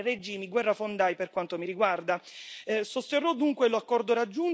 Non ci possiamo permettere di finanziare regimi guerrafondai, per quanto mi riguarda.